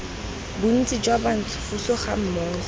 bontsi jwa bantsho puso gammogo